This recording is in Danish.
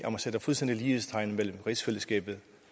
sætte fuldstændig lighedstegn mellem rigsfællesskabet